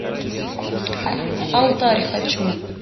алтарь хочу